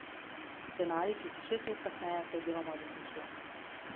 Scenarij, ki se šest let kasneje vsaj deloma uresničuje.